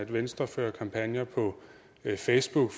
venstre fører kampagner på facebook